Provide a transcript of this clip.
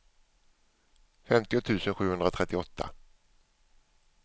femtio tusen sjuhundratrettioåtta